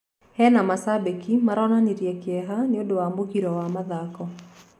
He macabiki maronanĩrie kieha nĩundũ wa mũgiro wa mathako